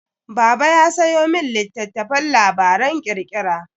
Baba ya sayo min littattafan labaran ƙirƙira.